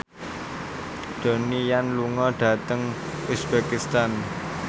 Donnie Yan lunga dhateng uzbekistan